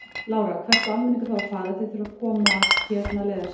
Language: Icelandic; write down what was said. Lára: Hvert á almenningur þá að fara ef þeir þurfa að komast hérna leiðar sinnar?